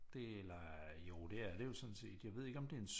Det er jo det er det jo sådan set jeg ved ikke om det er en